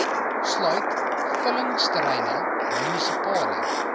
sluit vullingsterreine munisipale